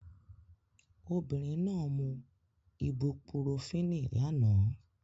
Obìnrin náà mú ibupurofínì lánàá